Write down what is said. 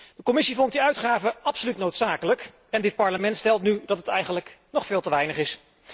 De Commissie vond die uitgaven absoluut noodzakelijk en dit Parlement stelt nu dat het eigenlijk nog veel te weinig is.